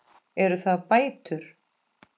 Eru það bætur?